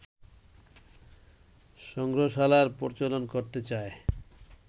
সংগ্রহশালার প্রচলন করতে চায়